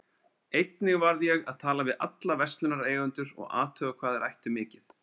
Einnig varð ég að tala við alla verslunareigendur og athuga hvað þeir ættu mikið.